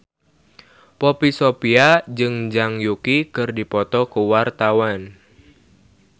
Poppy Sovia jeung Zhang Yuqi keur dipoto ku wartawan